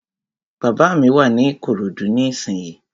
Bàbá mi wà ní Ìkòròdú ní ìsínyi